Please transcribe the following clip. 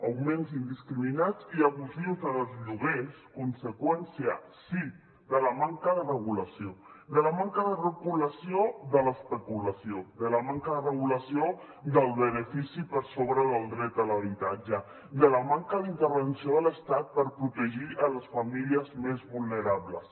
augments indiscriminats i abusius en els lloguers conseqüència sí de la manca de regulació de la manca de regulació de l’especulació de la manca de regulació del benefici per sobre del dret a l’habitatge de la manca d’intervenció de l’estat per protegir les famílies més vulnerables